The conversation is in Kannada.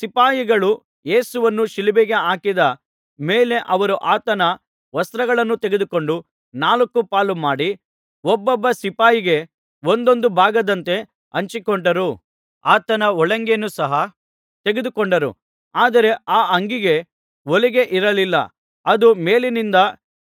ಸಿಪಾಯಿಗಳು ಯೇಸುವನ್ನು ಶಿಲುಬೆಗೆ ಹಾಕಿದ ಮೇಲೆ ಅವರು ಆತನ ವಸ್ತ್ರಗಳನ್ನು ತೆಗೆದುಕೊಂಡು ನಾಲ್ಕು ಪಾಲು ಮಾಡಿ ಒಬ್ಬೊಬ್ಬ ಸಿಪಾಯಿಗೆ ಒಂದೊಂದು ಭಾಗದಂತೆ ಹಂಚಿಕೊಂಡರು ಆತನ ಒಳಂಗಿಯನ್ನು ಸಹ ತೆಗೆದುಕೊಂಡರು ಆದರೆ ಆ ಅಂಗಿಗೆ ಹೊಲಿಗೆ ಇರಲಿಲ್ಲ ಅದು ಮೇಲಿನಿಂದ